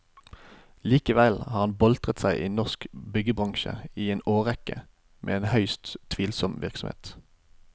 Likevel har han boltret seg i norsk byggebransje i en årrekke med en høyst tvilsom virksomhet.